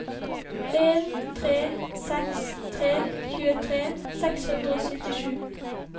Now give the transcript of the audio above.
en tre seks tre tjuetre seks hundre og syttisju